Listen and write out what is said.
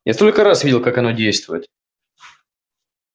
я столько раз видел как оно действует